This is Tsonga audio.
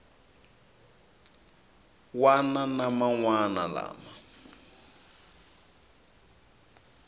wana na man wana lama